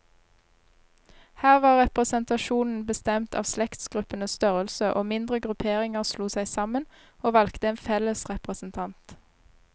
Her var representasjonen bestemt av slektsgruppenes størrelse, og mindre grupperinger slo seg sammen, og valgte en felles representant.